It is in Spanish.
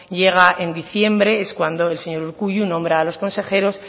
llega en diciembre es cuando el señor urkullu nombra a los consejeros